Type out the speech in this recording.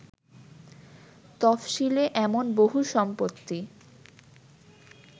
তফশিলে এমন বহু সম্পত্তি